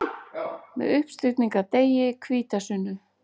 Með uppstigningardegi, hvítasunnu.